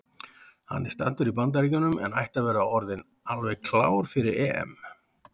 Hann er staddur í Bandaríkjunum en ætti að vera orðinn alveg klár fyrir EM.